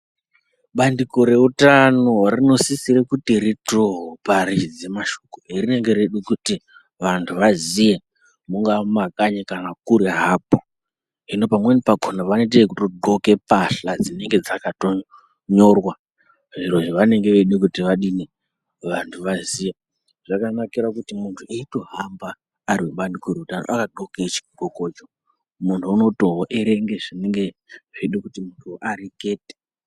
Bandiko reutano rinosisire kuti ritoparidze mashoko erinenge reide kuti vantu vaziye mungava mimakanyi kana kure hapo. Zvino pamweni pakona vanoite ekudxoke mbahla dzinenge dzakatonyorwa zviro zvavanenge veide kuti vadini, vantu vaziye. Zvakanakira kuti muntu eyitohamba ari mubandiko kudaro akadxoke chidxokocho, munhu unotoerenge zvinenge zveyide kuti muntu arekete.